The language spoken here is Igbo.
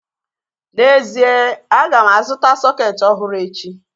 N'ezie, aga m azụta sọketi ọhụrụ echi